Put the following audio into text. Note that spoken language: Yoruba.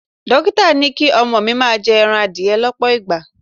Dókítà ní kí ọmọ mi máa jẹ ẹran adìẹ lọ́pọ̀ ìgbà.